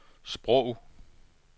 sprog